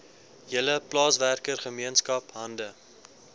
hele plaaswerkergemeenskap hande